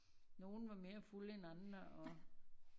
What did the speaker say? Nogen var mere fulde end andre og